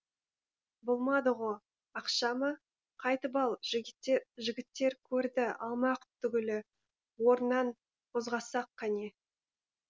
болмады ғо ақша ма қайтып ал жігіттер көрді алмақ түгілі орнынан қозғасақ қане